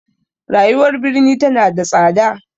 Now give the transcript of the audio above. Rayuwar birni tana da tsada.